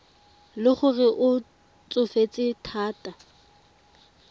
le gore o tsofetse thata